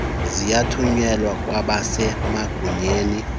sithunyelwe kwabase magunyeni